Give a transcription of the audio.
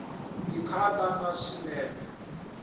ti khata na swinepe